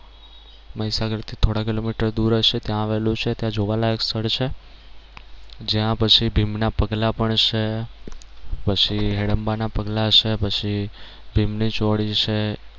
મહીસાગર થી થોડા કિલોમીટર દૂર હશે ત્યાં આવેલું છે ત્યાં જોવાલાયક સ્થળ છે જ્યાં પછી ભીમ ના પગલાં પણ છે પછી હીડમ્બા ના પગલાં છે પછી ભીમ ની ચોળી છે